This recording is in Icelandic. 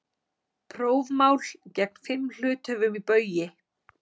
Prófmál gegn fimm hluthöfum í Baugi